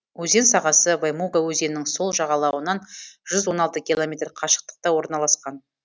өзен сағасы ваймуга өзенінің сол жағалауынан жүз он алты километр қашықтықта орналасқан